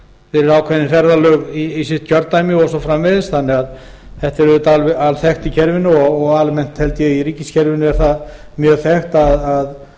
fyrir ákveðin ferðalög í sitt kjördæmi og svo framvegis þetta er alþekkt í kerfinu og almennt held ég í ríkiskerfinu er það mjög þekkt að